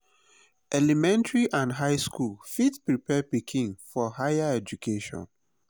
elementary and high school fit prepare pikin for higher education